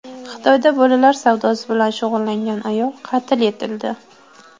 Xitoyda bolalar savdosi bilan shug‘ullangan ayol qatl etildi.